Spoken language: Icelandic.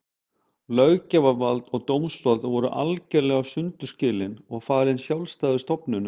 Löggjafarvald og dómsvald voru algerlega sundur skilin og falin sjálfstæðum stofnunum.